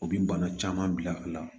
O bi bana caman bila a la